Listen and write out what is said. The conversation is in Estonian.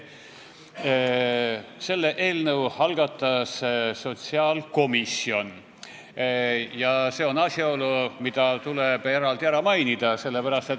Selle eelnõu algatas sotsiaalkomisjon ja see on asjaolu, mis tuleb eraldi ära märkida.